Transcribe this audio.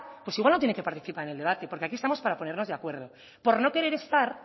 pues igual no tiene que participar en el debate porque aquí estamos para ponernos de acuerdo por no querer estar